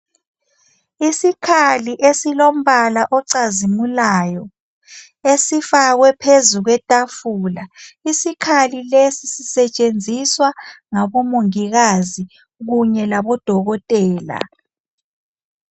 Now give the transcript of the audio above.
Isikhali esilombala ocazimulayo esifakwe phezu kwetafula. Isikhali lesi sisetshenziswa ngabomongikazi kunye labodokotela.